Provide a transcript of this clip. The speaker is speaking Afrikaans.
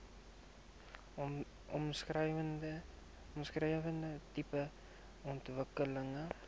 omskrewe tipe ontwikkeling